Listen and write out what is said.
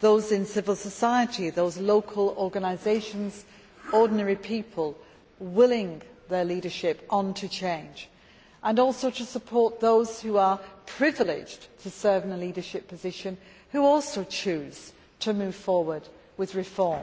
those in civil society and those local organisations and ordinary people who are willing their leadership on to change, and also to support those who are privileged to serve in leadership positions who likewise choose to move forward with reform,